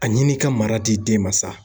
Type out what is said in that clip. A ɲini ka mara di den ma sa.